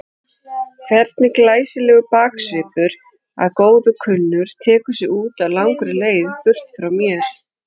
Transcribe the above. Hvernig glæsilegur baksvipur að góðu kunnur tekur sig út á langri leið burt frá mér.